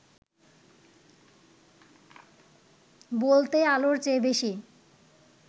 বলতে আলোর চেয়ে বেশি